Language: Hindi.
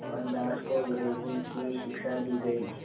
मोहनदास को अंग्रेज़ी की शिक्षा दी गई